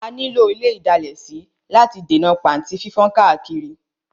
A ní lò ile ìdalẹ̀ sí láti lè dènà pàntí fífán káàkiri.